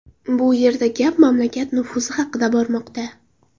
Bu yerda gap mamlakat nufuzi haqida bormoqda”.